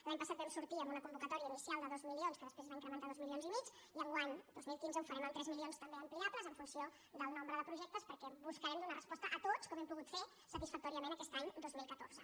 l’any passat vam sortir amb una convocatòria inicial de dos milions que després es va incrementar dos milions i mig i enguany dos mil quinze ho farem amb tres milions també ampliables en funció del nombre de projectes perquè buscarem donar resposta a tots com hem pogut ferho satisfactòriament aquest any dos mil catorze